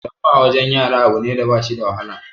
Dambe a wajen yara abu ne da ba shi da wahala